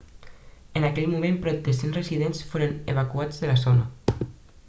en aquell moment prop de 100 residents foren evacuats de la zona